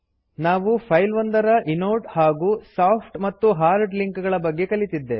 ನಾವು ಫೈಲ್ ಒಂದರ ಇನೋಡ್ ಹಾಗೂ ಸಾಫ್ಟ್ ಮತ್ತು ಹಾರ್ಡ್ ಲಿಂಕ್ ಗಳ ಬಗ್ಗೆ ಕಲಿತಿದ್ದೇವೆ